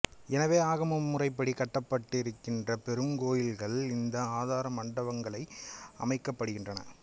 எனவே ஆகம முறைப்படி கட்டப்படுகின்ற பெரும் கோயில்கள் இந்த ஆதார மண்டபங்கள் அமைக்கப்படுகின்றன